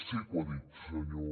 sí que ho ha dit senyor